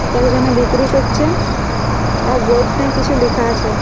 কেউ যেন বিক্রি করছে এর বোর্ড টাই কিছু লেখা আছে ।